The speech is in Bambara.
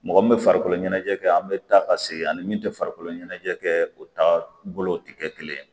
Mɔgɔ min bɛ farikolo ɲɛnajɛ kɛ an bɛ taa ka segin ani min tɛ farikolo ɲɛnajɛ kɛ o ta bolo tɛ kɛ kelen ye